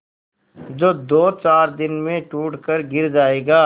जो दोचार दिन में टूट कर गिर जाएगा